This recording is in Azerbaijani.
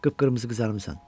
Qıpqırmızı qızarmısan.